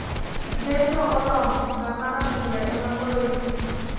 Ngeso oromo ,saa mar adhula ema koro irito .